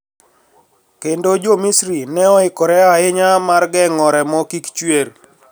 Kendo jo Misri ne oikore ahinya mar geng`o remo kik chwer